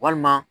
Walima